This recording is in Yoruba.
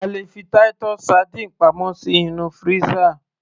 a lè fi Titus sardines pamọ́ sí inú freezer